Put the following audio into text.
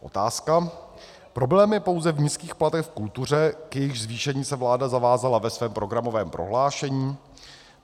Otázka: Problém je pouze v nízkých platech v kultuře, k jejichž zvýšení se vláda zavázala ve svém programovém prohlášení?